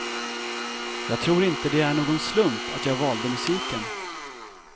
Jag tror inte det är någon slump att jag valde musiken.